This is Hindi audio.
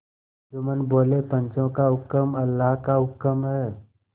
जुम्मन बोलेपंचों का हुक्म अल्लाह का हुक्म है